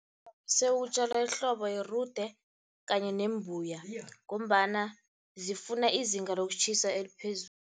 Sewutjalwa ehlobo yirude kanye nembuya, ngombana zifuna izinga lokutjhisa eliphezulu.